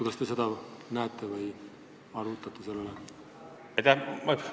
Kas te seda ohtu näete ja olete seda arutanud?